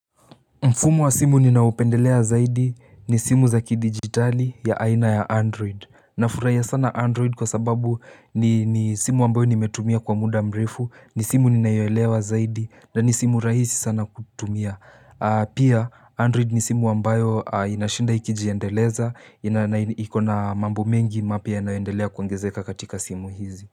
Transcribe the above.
Mfumo wa simu ninaopendelea zaidi ni simu za kidigitali ya aina ya Android. Nafurahia sana Android kwa sababu ni ni simu ambayo nimetumia kwa muda mrefu ni simu ninayoelewa zaidi na ni simu rahisi sana kutumia. Pia Android ni simu ambayo inashinda ikijiendeleza na ikona mambo mengi mapya yanayoendelea kuongezeka katika simu hizi.